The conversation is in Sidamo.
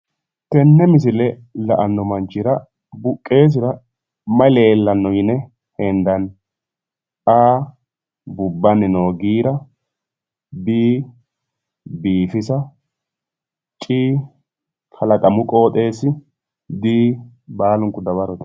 Tenne misile la'anno manchi buqqeesira mayi leellanno yine hendanni? A.bubbanni noo giira B. Biifisa c. Kalaqamu qooxeessa D. Baalanti dawarote